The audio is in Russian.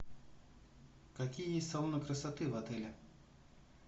какие есть салоны красоты в отеле